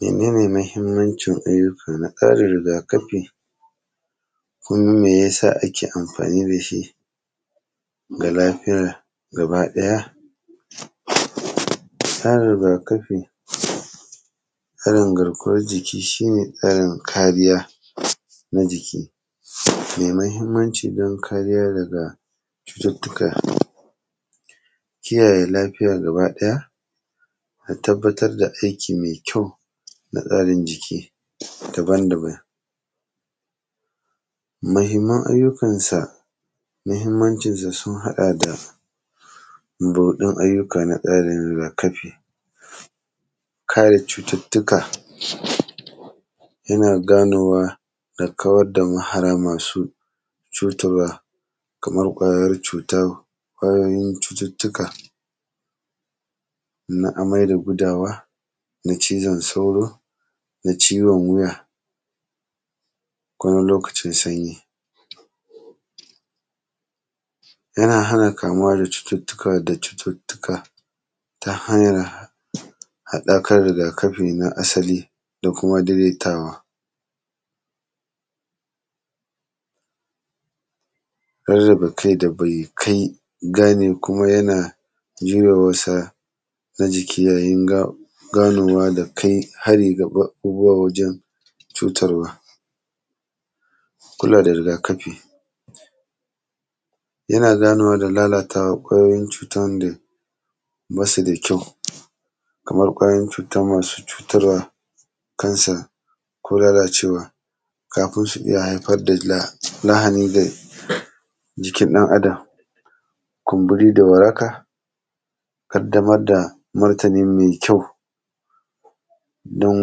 Mene ne mahimmancin ayyuka na ƙarin riga-kafi, kuma me ya sa ake amfani da shi ga lafiya gabaɗaya? Tsarin riga-kafi, tsarin garkuwar jiki, shi ne tsarin kariya na jiki me mahimmanci dan kariya daga cututtuka, kiyaye lafiya gabaɗaya da tabbatar da aiki me kyau da tsarin jiki daban-daban. Mahimman ayyukansa, mahimmancinsa sun haɗa da buɗaɗɗun ayyuka na tsarin riga-kafi, kare cututtuka. Yana ganowa da kawad da mahara masu cutarwa, kamar ƙwayar cuta, ƙwayoyin cututtuka na amai da gudawa, na cizon sauro, na ciwon wuya ko na lokacin sanyi. Yana hana kamuwa da cututtuka; da cututtuka ta hanyar haɗakar riga-kafi na asali da kuma dedetawa. Rarraba kai da bai kai; gane kuma yana zuwa masa na jiki yayin ga; ganowa da kai hari ga ba; abubuwa wajan cutarwa. A kula da riga-kafi, yana ganowa da lalatawan ƙwayoyin cutan da ba su da kyau, kamar ƙwayoyon cuta masu cutarwa kansa ko lalacewa, kafin shi ze haifad da la; lahani ga jikin ɗan Adam. Kumbiri da waraka, ƙaddamar da martini me kyau don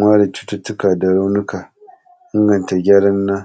ware cututtuka da raunika, inganta gyaran na.